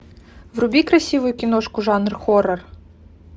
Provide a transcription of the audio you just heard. вруби красивую киношку жанр хоррор